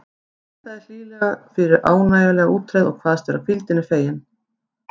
Hún þakkaði hlýlega fyrir ánægjulega útreið og kvaðst vera hvíldinni fegin.